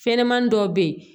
Fɛnɲamani dɔw bɛ ye